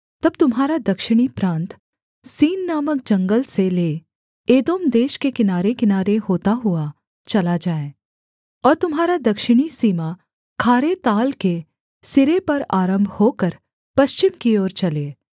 तब तुम्हारा दक्षिणी प्रान्त सीन नामक जंगल से ले एदोम देश के किनारेकिनारे होता हुआ चला जाए और तुम्हारा दक्षिणी सीमा खारे ताल के सिरे पर आरम्भ होकर पश्चिम की ओर चले